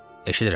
Eşidirəm.